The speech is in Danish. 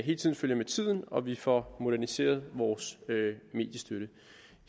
hele tiden følger med tiden og at vi får moderniseret vores mediestøtte